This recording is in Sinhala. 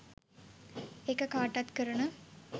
ඒක කාටත් කරන